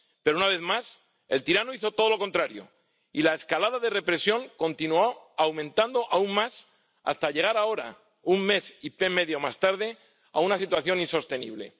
Pero, una vez más, el tirano hizo todo lo contrario y la escalada de represión continuó, aumentando aún más, hasta llegar ahora, un mes y medio más tarde, a una situación insostenible.